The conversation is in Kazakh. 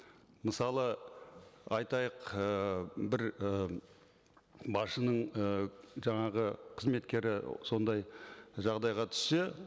мысалы айтайық ііі бір ы басшының ы жаңағы қызметкері сондай жағдайға түссе